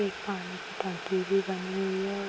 एक पानी की टंकी भी बनी हुई है और --